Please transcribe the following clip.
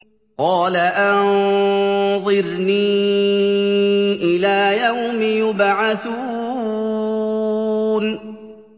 قَالَ أَنظِرْنِي إِلَىٰ يَوْمِ يُبْعَثُونَ